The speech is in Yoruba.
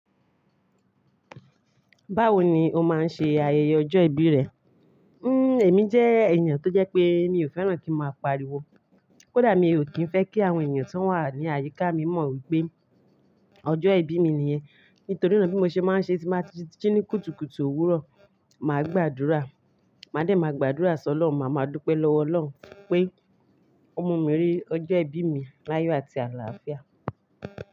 Báwo ni o máa ń ṣe ayẹyẹ ọjọ́ ìbí rẹ? Hmm, èmi jẹ́ ènìyàn tó jẹ́ pé mi ò fẹ́ràn kí n máa pariwo. Kódà mi ò kí ń fẹ́ kí àwọn ènìyàn tó wà ní àyíká mi mọ̀ wípé ọjọ́ ìbí mi nìyẹn. Nítorí náà bí mo ṣe máa ń ṣe ti máa ń jí ní kùtùkùtù òwúrọ̀, màá gbàdúrà. Màá dẹ̀ máa gbàdúrà sọ ọ́lorun màá máa dúpẹ́ lọ́wọ́ Ọlọ́run pé ọmọ mi rí ọjọ́ ìbí mi láyọ̀ àti àlàáfíà.